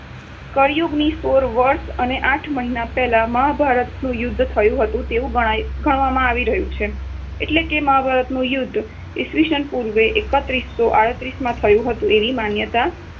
કળિયુગથી સોળ વર્ષ અને આઠ મહિના પહેલાં મહાભારત યુદ્ધ થયુ હતું તેવું ગણાય ગણવામાં આવી રહ્યું છે. એટલે મહાભારતનું યુદ્ધ ઈસ્વીસન પૂર્વ એકત્રીસો આડત્રીસ માં થયુ હતું એવી માન્યતા